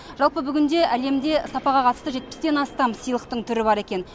жалпы бүгінде әлемде сапаға қатысты жетпістен астам сыйлықтың түрі бар екен